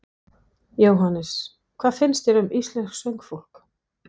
Jóhannes: Hvað finnst þér um íslenskt söngfólk?